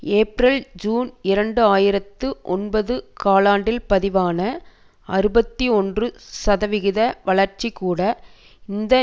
ஏப்ரல்ஜூன் இரண்டு ஆயிரத்தி ஒன்பது காலாண்டில் பதிவான அறுபத்தி ஒன்று சதவிகித வளர்ச்சிகூட இந்த